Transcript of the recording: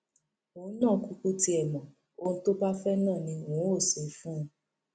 òun náà kúkú tiẹ mọ ohun tó bá fẹ náà ni n óò ṣe fún un